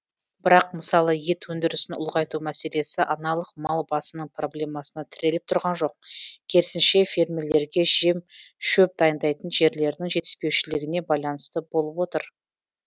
бірақ мысалы ет өндірісін ұлғайту мәселесі аналық мал басының проблемасына тіреліп тұрған жоқ керісінше фермерлерге жем шөп дайындайтын жерлердің жетіспеушілігіне байланысты болып отыр